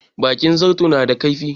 Bakin zarto na da kaifi.